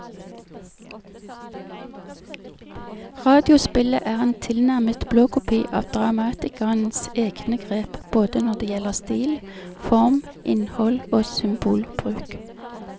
Radiospillet er en tilnærmet blåkopi av dramatikerens egne grep både når det gjelder stil, form, innhold og symbolbruk.